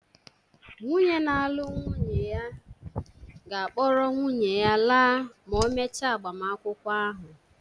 Nwunye na-alụ nwunye ya ga-akpọrọ nwunye ya laa ma e mechaa agbamakwụkwọ ahụ